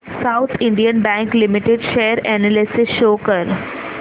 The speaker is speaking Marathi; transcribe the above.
south Indian bank limited share analysis show कर